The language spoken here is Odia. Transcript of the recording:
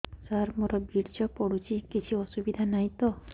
ସାର ମୋର ବୀର୍ଯ୍ୟ ପଡୁଛି କିଛି ଅସୁବିଧା ନାହିଁ ତ